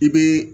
I be